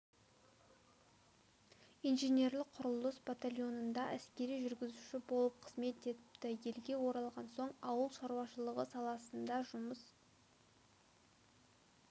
инженерлік құрылыс батальонында әскери жүргізуші болып қызмет етіпті елге оралған соң ауыл шаруашылығы саласында жұмыс